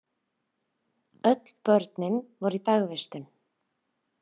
Öll börnin voru í dagvistun.